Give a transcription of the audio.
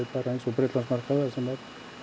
bara eins og Bretlandsmarkað þar sem er